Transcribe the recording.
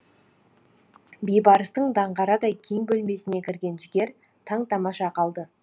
бейбарыстың даңғарадай кең бөлмесіне кірген жігер таң тамаша қалды